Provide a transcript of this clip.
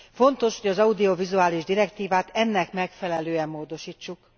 Fontos, hogy az audiovizuális direktívát ennek megfelelően módosítsuk.